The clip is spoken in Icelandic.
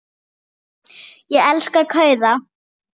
Ég elska kauða.